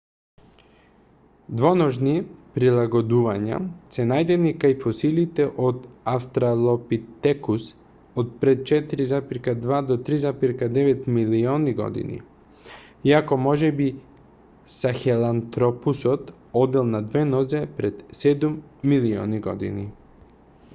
двоножни прилагодувања се најдени кај фосилите од австралопитекус од пред 4,2-3,9 милиони години иако можеби сахелантропусот одел на две нозе пред седум милиони години